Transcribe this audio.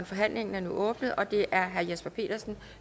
forhandlingen er åbnet og det er først herre jesper petersen